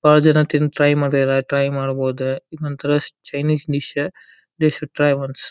ಬಾಳ ಜನ ತಿಂದ ಟ್ರೈ ಮಾಡ್ತಾರಾ ಟ್ರೈ ಮಾಡಬೋದ ಇದೊಂದ ತರ Chinese dish they should try once .